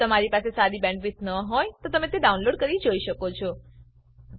જો તમારી બેન્ડવિડ્થ સારી ન હોય તો તમે ડાઉનલોડ કરી તે જોઈ શકો છો